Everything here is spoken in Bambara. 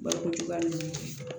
Balokojuguya ninnu